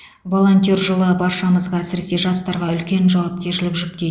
волонтер жылы баршамызға әсіресе жастарға үлкен жауапкершілік жүктейді